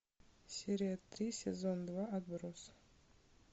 серия три сезон два отбросы